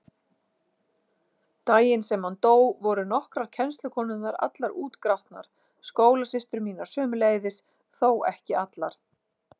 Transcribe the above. Daginn sem hann dó voru nokkrar kennslukonurnar allar útgrátnar, skólasystur mínar sömuleiðis, þó ekki allar.